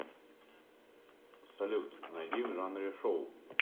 салют найди в жанре шоу